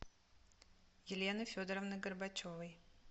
елены федоровны горбачевой